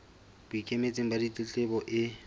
bo ikemetseng ba ditletlebo e